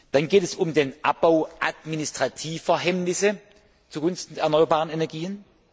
Dann geht es um den Abbau administrativer Hemmnisse zugunsten der erneuerbaren Energien.